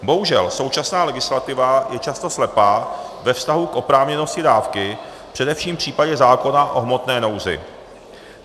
Bohužel, současná legislativa je často slepá ve vztahu k oprávněnosti dávky, především v případě zákona o hmotné nouzi.